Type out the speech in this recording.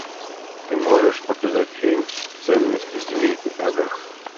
ты можешь показать фильм ценности семейки адамс